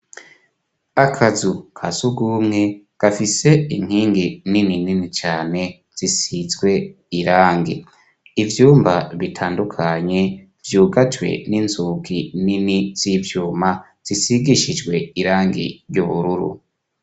Akazu kasugumwe gafise inkingi nini nini cane zisizwe irangi ,ivyumba bitandukanye vyugajwe inzugi nini z'ivyuma zisigishijwe irangi ry'ubururu.